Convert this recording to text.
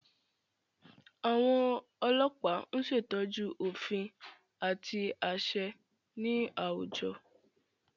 Àwọn ọlọpa ñ ṣetọju òfin àti aṣẹ ní awújọ